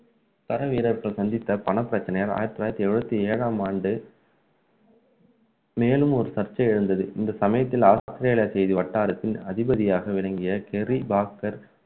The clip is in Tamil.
பல வீரர்கள் சந்தித்த பண பிரச்சினையால் ஆயிரத்து தொள்ளாயிரத்து எழுபத்து ஏழாம் ஆண்டு மேலும் ஒரு சர்ச்சை எழுந்தது இந்த சமயத்தில் ஆஸ்திரேலிய அணி வட்டாரத்தில் அதிபதியாக விளங்கிய சேரி பாஸ்கர்